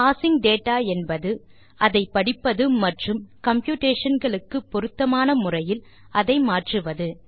parsing data என்பது அதை படிப்பது மற்றும் கம்ப்யூட்டேஷன் களுக்கு பொருத்தமான முறையில் அதை மாற்றுவது